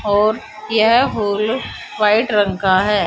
और यह hole white रंग का है।